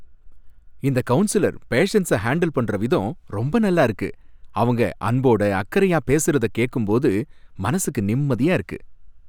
இந்த கவுன்சிலர் பேஷண்ட்ஸ ஹாண்டில் பண்ற விதம் ரொம்ப நல்லா இருக்கு. அவங்க அன்போட அக்கறையா பேசுறத கேட்கும்போது மனசுக்கு நிம்மதியா இருக்கு.